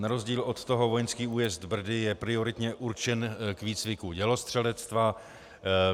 Na rozdíl od toho vojenský újezd Brdy je prioritně určen k výcviku dělostřelectva.